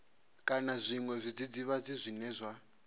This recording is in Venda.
kana zwiṅwe zwidzidzivhadzi zwine zwa